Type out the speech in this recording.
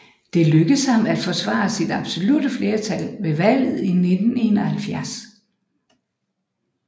Det lykkedes ham at forsvare sit absolutte flertal ved valget i 1971